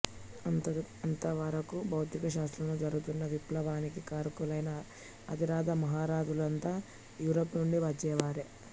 అంతవరకు భౌతిక శాస్త్రంలో జరుగుతున్న విప్లవానికి కారకులైన అతిరథ మహారథులంతా యూరప్ నుండి వచ్చినవారే